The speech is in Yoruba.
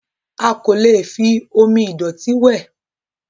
A kò lè fi omi ìdọ̀tí wẹ̀.